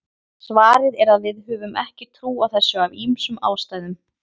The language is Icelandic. svarið er að við höfum ekki trú á þessu af ýmsum ástæðum